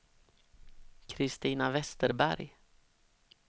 Christina Westerberg